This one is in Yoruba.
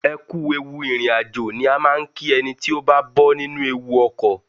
Ẹ kú ewu ìrìn àjò ni a máa ń kí ẹni tí ó bá bọ́ nínú ewu ọkọ̀.